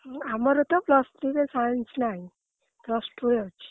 ଆମର ତ plus three ରେ Science ନାଇଁ plus two ରେ ଅଛି।